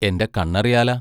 എന്റെ കണ്ണറിയാല.